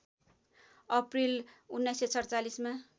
April १९४७ मा